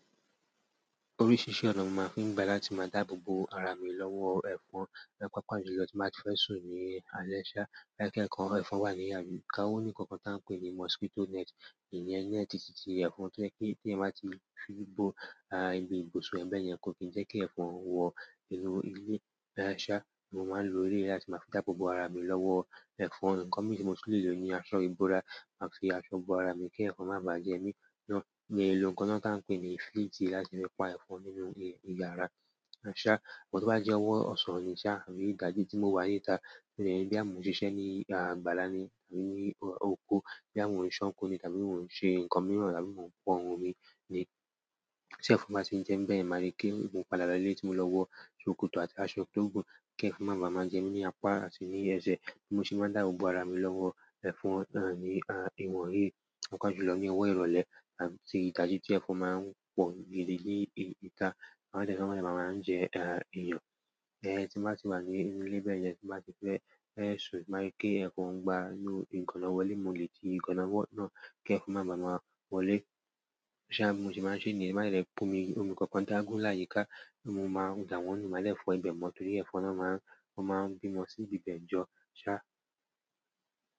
Oríṣiríṣi ọ̀nà mo máa fi ń gbà láti máa dáàbò bo ara mi lọ́wọ́ ẹ̀fọn. Paapa jùlọ tin ba ti fe sun ní àlé ṣá, ẹ̀fọn wà ni òní nǹkan kan tí wọ́n ń pè ní mosquito net. Iyẹn neti ti ti ẹ̀fọn tí eeyan báa ti fi bo àgbègbè ibùsùn ẹ̀ bẹ́ẹ̀ yen kò ki jẹ́ kí ẹ̀fọn wọ inú ilé. Mo máa ń lo eleyi láti máa fi dabò bo ara mi lọ́wọ́ ẹ̀fọn. Ǹkan mi tí mo ti lè lò ni aṣọ ìbora, màá fi aṣọ bo ara mi kí ẹ̀fọn má bà á jẹ mí náà. Mo le lo nǹkan náà tí ń pè ní fleeti láti fi pa ẹ̀fọn nínú ilé, ní yàrá. But ti o báti jẹ́ ọwọ́ ọ̀sán ni ṣá, tàbí tí mo wá ní ìta mo leni boya mo n ṣiṣẹ́ ní àgbàlá ni àbí ní oko, boyà mo n ṣánko ni tàbí mo n ṣe nǹkan mìíràn tàbí mo ń pọ́n omi tí ẹ̀fọn bá ti n jẹ́ mi bẹ́yẹ̀n màá ríi pé mó padà lole tí mo lọ wọ ṣòkòtò àti aṣọ tó gùn kí ẹ̀fọn má bá má jẹ́ mí ní apá àti ní ẹsẹ̀. Bi mo se máa dàbòbo ara mi lọ́wọ́ ẹ̀fọn náà ní ìwọ̀n yí, papajùlọ ní owó ìrọ̀lẹ́ tàbí ti idají tí ẹ̀fọn máa ń pọ gidi ìta. Wọ́n dẹ́ máa máa ń jẹ́ eeyàn. Tí mo bá ti wà ní inú ilé bẹ́ẹ̀ yẹn, tí mo bá ti fẹ́ ṣú, ti mo bàá ríi pé ẹ̀fọn ń gbá inú ìganna wọlé, mo lè ti ìganna náà kí ẹ̀fọn má bá máa wọlé. Ṣá, bi mo se niyen máa ṣe niyen, o bàá jẹ pe omi kankan dágun láyiká, mo máa dà wọ́n nu, máa dẹ́ fọ́ ibẹ̀ mọ́ torí ẹ̀fọn náà máa, wọ́n máa ń bímọ sí ibi ibẹ̀ jọ. Ṣá.